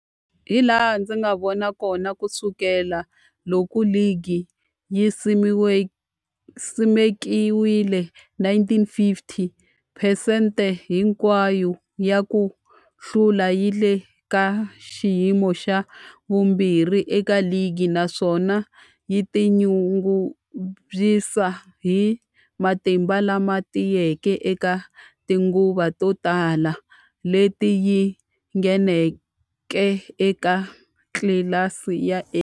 Hilaha ndzi nga vona hakona, ku sukela loko ligi yi simekiwile, 1950, phesente hinkwayo ya ku hlula yi le ka xiyimo xa vumbirhi eka ligi, naswona yi tinyungubyisa hi matimba lama tiyeke eka tinguva to tala leti yi ngheneke eka tlilasi ya A.